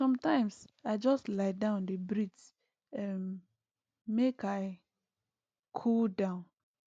sometimes i just lie down dey breathe um make i cool down